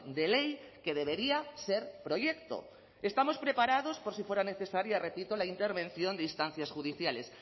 de ley que debería ser proyecto estamos preparados por si fuera necesaria repito la intervención de instancias judiciales